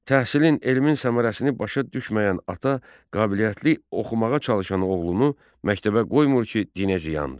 Təhsilin, elmin səmərəsini başa düşməyən ata qabiliyyətli, oxumağa çalışanı oğlunu məktəbə qoymur ki, dinə ziyandır.